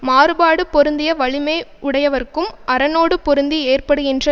மாறுபாடு பொருந்திய வலிமை உடையவர்க்கும் அரணோடு பொருந்தி ஏற்படுகின்ற